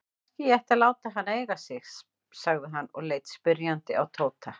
Kannski ég ætti að láta hana eiga sig? sagði hann og leit spyrjandi á Tóta.